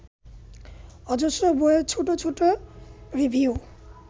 অজস্র বইয়ের ছোট ছোট রিভিউ